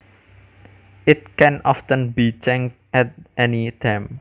It can often be changed at any time